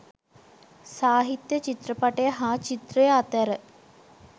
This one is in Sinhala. සාහිත්‍ය චිත්‍රපටය හා චිත්‍රය අතැර